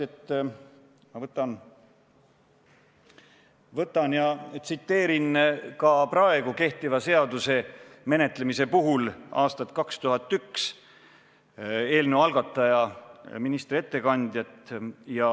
Ma tsiteeriksin ka praegu kehtiva seaduse menetlemise puhul seda, mida aastal 2001 ütles eelnõu algataja, minister.